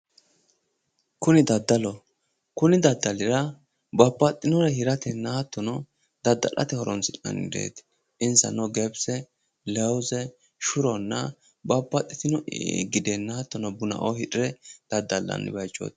Kuni daddalloho kuni daddalira babbaxinorr daddallanni bayichoti, shuro, buna lawuze data lawinoreno hirranni daddallanni baseti